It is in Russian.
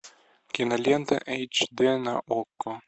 кинолента эйч д на окко